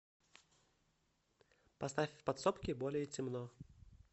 поставь в подсобке более темно